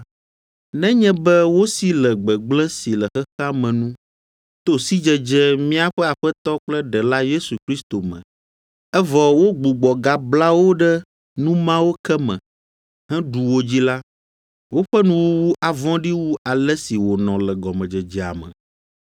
Nenye be wosi le gbegblẽ si le xexea me nu, to sidzedze míaƒe Aƒetɔ kple Ɖela Yesu Kristo me, evɔ wogbugbɔ gabla wo ɖe nu mawo ke me, heɖu wo dzi la, woƒe nuwuwu avɔ̃ɖi wu ale si wònɔ le gɔmedzedzea me.